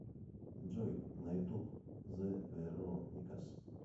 джой на ютуб зе вероникас